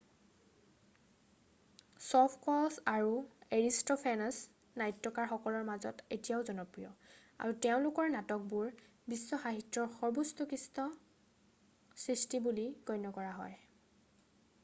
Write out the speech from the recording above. Sophocles আৰু Aristophanes নাট্যকাৰসকলৰ মাজত এতিয়াও জনপ্ৰিয় আৰু তেওঁলোকৰ নাটকবোৰ বিশ্ব সাহিত্যৰ সৰ্বোৎকৃষ্ট সৃষ্টি বুলি গণ্য কৰা হয়